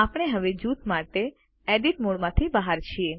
આપણે હવે જૂથ માટે એડિટ મોડમાંથી બહાર છીએ